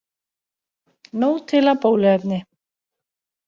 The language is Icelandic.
Nóg til af bóluefni